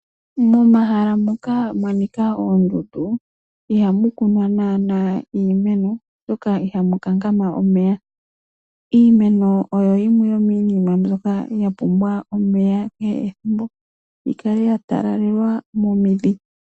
Momahala moka muna oondundu, ihamu kunwa naana iimeno, oshoka ihamu kankama omeya. Iimeno oyo yimwe yomiinima mbyoka hayi pumbwa omeya ethimbo kehe, yikale yatalelwa momidhi.